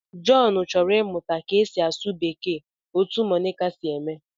John chọrọ ịmụta ka e si asụ Bekee otú Monica si eme